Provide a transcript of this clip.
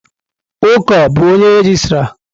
Uko bu onye regịstrá?